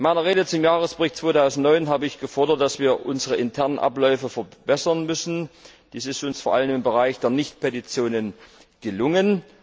In meiner Rede zum Jahresbericht 2009 habe ich gefordert, dass wir unsere internen Abläufe verbessern müssen. Dies ist uns vor allem im Bereich der Nicht Petitionen gelungen.